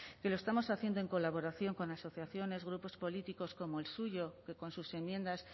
que lo estamos haciendo en colaboración con asociaciones grupos políticos como el suyo que con sus enmiendas